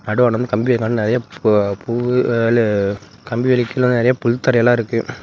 நடுவாண்ட வந்து கம்பி இருக்காட் நெறைய புவ பூவு லு கம்பி வேலிக்ககுள்ள நெறைய புள்த்தறை எல்லா இருக்கு.